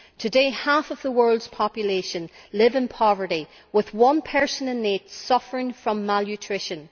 Today half of the world's population live in poverty, with one person in eight suffering from malnutrition.